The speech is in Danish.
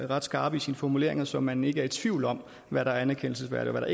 ret skarp i sine formuleringer så man ikke er i tvivl om hvad der er anerkendelsesværdigt og